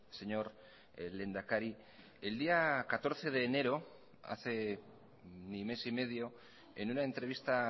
señor lehendakari el día catorce de enero hace ni mes y medio en una entrevista